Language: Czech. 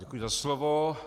Děkuji za slovo.